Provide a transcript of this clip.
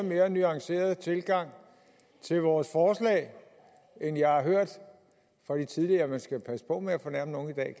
mere nuanceret tilgang til vores forslag end jeg hørte fra de tidligere man skal passe på med at fornærme nogen i dag